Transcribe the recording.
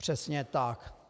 Přesně tak.